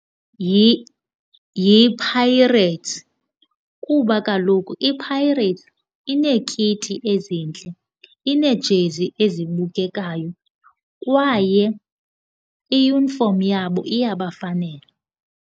YiPirates kuba kaloku iPirates ineekiti ezintle, ineejezi ezibukekayo kwaye iyunifomu yabo iyabafanela.